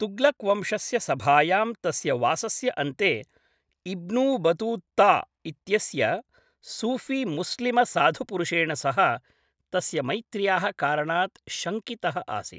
तुग्लक् वंशस्य सभायां तस्य वासस्य अन्ते, इब्न् बतूत्ता इत्यस्य सूफी मुस्लिमसाधुपुरुषेण सह तस्य मैत्र्याः कारणात् शङ्कितः आसीत्।